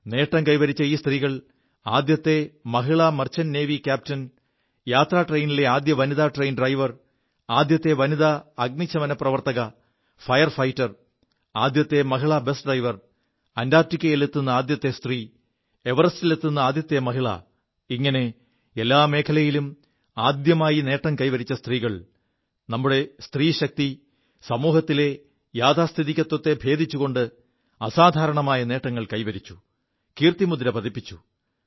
നേം കൈവരിച്ച ഈ സ്ത്രീകൾ ആദ്യത്തെ മഹിളാ മർച്ചന്റ് നേവി ക്യാപ്റ്റൻ യാത്രാ ട്രെയിനിലെ ആദ്യത്തെ വനിത ട്രെയിൻ ഡ്രൈവർ ആദ്യത്തെ വനിത അഗ്നിശമന പ്രവർത്തക ഫയർ ഫൈറ്റർ ആദ്യത്തെ മഹിളാ ബസ് ഡ്രൈവർ അന്റാർിക്കയിലെത്തു ആദ്യത്തെ സ്ത്രീ എവറസ്റ്റിലെത്തു ആദ്യത്തെ മഹിള ഇങ്ങനെ എല്ലാ മേഖലകളിലും ആദ്യമായി നേം കൈവരിച്ച സ്ത്രീകൾ നമ്മുടെ സ്ത്രീശക്തി സമൂഹത്തിലെ യാഥാസ്ഥിതികത്വത്തെ ഭേദിച്ചുകൊണ്ട് അസാധാരണമായ നേങ്ങൾ കൈവരിച്ചു കീർത്തിമുദ്ര പതിപ്പിച്ചു